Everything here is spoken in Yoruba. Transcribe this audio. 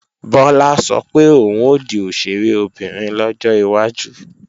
Bọ́lá sọ pé òun ó di òṣèré obìnrin lọ́jọ́ iwájú